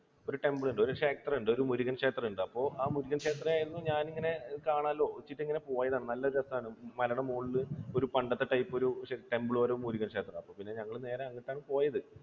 ഒരു temple ഉണ്ട്, ഒരു ക്ഷേത്രമുണ്ട്. ഒരു മുരുകൻ ക്ഷേത്രം ഉണ്ട്. അപ്പൊ ആ മുരുകൻ ക്ഷേത്രമായിരുന്നു ഞാനിങ്ങനെ കാണാലോ എന്ന് വെച്ചിട്ട് ഇങ്ങനെ പോയതാണ്. നല്ല രസമാണ്. ആ മലയുടെ മുകളിൽ ഒരു പണ്ടത്തെ type ഒരു temple ഒരു മുരുകൻ ക്ഷേത്രം. അപ്പോൾ ഞങ്ങൾ നേരെ അങ്ങോട്ടാണ് പോയത്